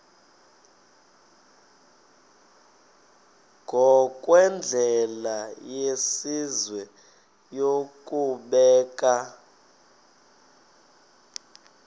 ngokwendlela yesizwe yokubeka